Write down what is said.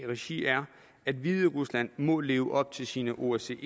regi er at hviderusland må leve op til sine osce